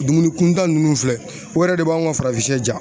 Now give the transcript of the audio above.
Dumuni kuntan nunnu filɛ, o yɛrɛ de b'anw ka farafin diya